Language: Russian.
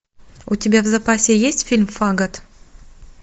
у тебя в запасе есть фильм фагот